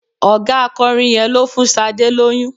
Ọ̀gá akọrin yẹn ló fún Sadé lóyún.